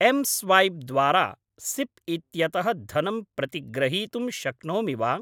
M swap द्वारा SIP इत्यतः धनं प्रतिग्रहीतुं शक्नोमि वा?